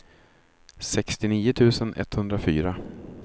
sextionio tusen etthundrafyra